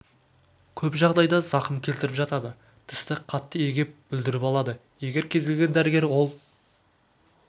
көп жағдайда зақым келтіріп жатады тісті қатты егеп бүлдіріп алады егер кез келген дәрігер ол